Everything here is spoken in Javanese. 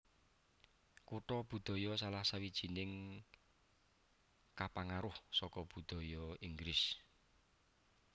Kutha budaya salah sawijining kapangaruh saka budaya Inggris